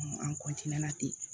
An ten